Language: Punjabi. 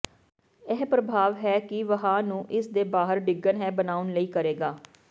ਇਹ ਪ੍ਰਭਾਵ ਹੈ ਕਿ ਵਹਾਅ ਨੂੰ ਇਸ ਦੇ ਬਾਹਰ ਡਿੱਗਣ ਹੈ ਬਣਾਉਣ ਲਈ ਕਰੇਗਾ